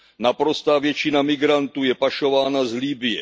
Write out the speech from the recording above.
Naprostá většina migrantů je pašována z Libye.